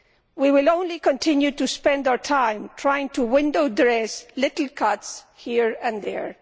We will only continue to spend our time trying to window dress little cuts here and there.